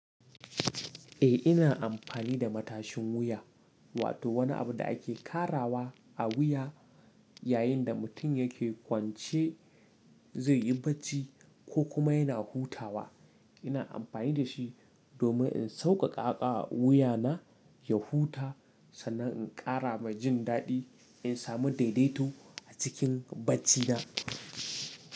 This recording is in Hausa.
Eh ina amfani da matashin wuya, wato wani abu da ake karawa a wuya yayin da mutum yake kwance zai yi bacci ko kuma yana hutawa. Ina amfani da shi domin in sauƙaƙawa wuya na ya huta sannan in ƙara mai jin daɗi in samu daidaito a cikin bacci na.